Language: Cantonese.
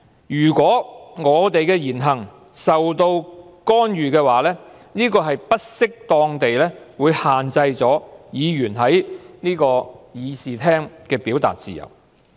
如果我們的言行受到干預，便是不適當地限制議員在這個議事廳的表達自由。